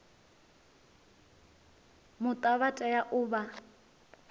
muta vha tea u vha